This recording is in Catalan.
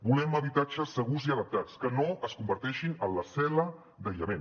volem habitatges segurs i adaptats que no es converteixin en la cel·la d’aïllament